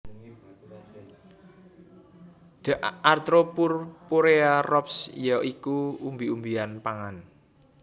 D atropurpurea Roxb ya iku umbi umbian pangan